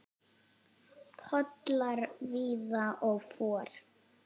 Pollar víða og for.